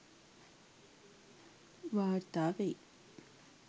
වාර්තා වෙයි